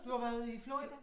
Du har været i Florida?